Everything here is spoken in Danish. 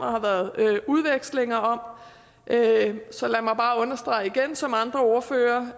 og har været udvekslinger om så lad mig bare understrege igen lige som andre ordførere